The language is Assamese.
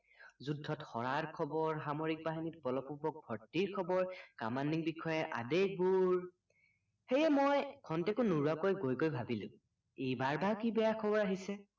যুদ্ধত হৰাৰ খবৰ সামৰিক বাহিনীত বলপূৰ্বক ভৰ্তিৰ খবৰ কামান্ডিং বিষয়াৰ আদেশবোৰ সেয়ে মই খন্তেকো নোৰোৱাকৈ গৈ গৈ ভাবিলো এইবাৰ বা কি বেয়া খবৰ আহিছে